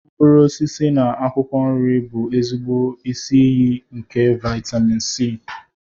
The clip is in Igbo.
Mkpụrụ osisi na akwụkwọ nri bụ ezigbo isi iyi nke vitámịn C